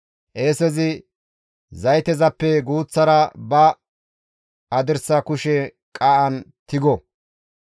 Qeesezi zaytezappe guuththara ba hadirsa kushe qaa7an tigo.